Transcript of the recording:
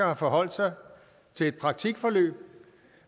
har forholdt sig til et praktikforløb